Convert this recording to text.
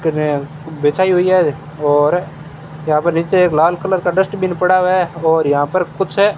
बिछाई हुई है और यहां पर नीचे एक लाल कलर का डस्टबिन पड़ा है और यहां पर कुछ --